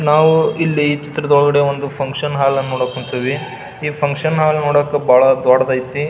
ನಾವು ಇಲ್ಲಿ ಈ ಚಿತ್ರದೊಳಗಡೆ ಒಂದು ಫುನ್ಕ್ಷನ್ ಹಾಲ್ ನೋಡಕ್ ಹೊಂತಿವಿ ಈ ಫುನ್ಕ್ಷನ್ ಹಾಲ್ ನೋಡಾಕ ಬಹಳ ದೊಡ್ಡದೈತಿ .